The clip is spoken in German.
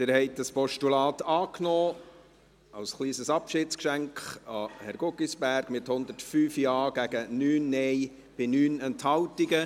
Sie haben dieses Postulat angenommen, als kleines Abschiedsgeschenk an Herrn Guggisberg, mit 105 Ja- gegen 9 Nein-Stimmen bei 9 Enthaltungen.